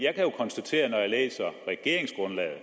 regeringsgrundlaget